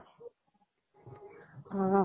অ